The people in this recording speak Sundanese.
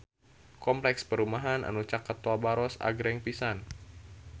Kompleks perumahan anu caket Tol Baros agreng pisan